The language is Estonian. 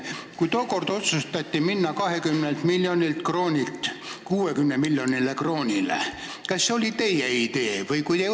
Kui tookord otsustati minna 20 miljonilt kroonilt 60 miljonile kroonile, kas see oli teie idee?